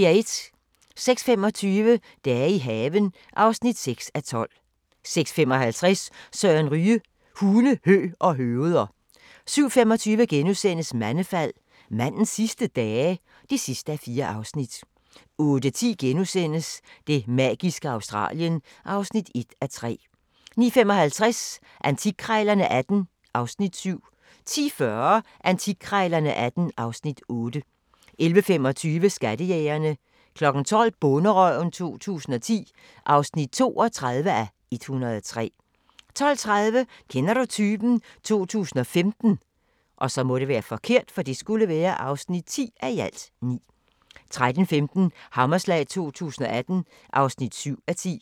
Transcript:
06:25: Dage i haven (6:12) 06:55: Søren Ryge: Hunde, hø og høveder 07:25: Mandefald - mandens sidste dage? (4:4)* 08:10: Det magiske Australien (1:3)* 09:55: Antikkrejlerne XVIII (Afs. 7) 10:40: Antikkrejlerne XVIII (Afs. 8) 11:25: Skattejægerne 12:00: Bonderøven 2010 (32:103) 12:30: Kender du typen? 2015 (10:9) 13:15: Hammerslag 2018 (7:10)